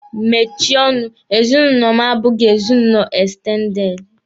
Mechie ọnụ! ezinụlọ m abụghị ezinụlọ ekstendede.